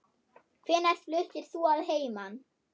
Hvenær fluttir þú að heiman?